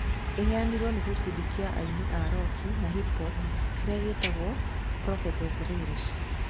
Ĩhaarĩirio nĩ gĩkundi kĩa aini a roki na hip-hop kĩrĩa gĩtagwo Prophets Rage.